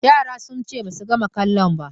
Yaran sun ce ba su gama kalon ba